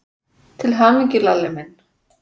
Til hamingju, Lalli minn.